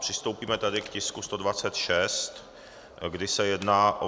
Přistoupíme tedy k bodu 126, kde se jedná o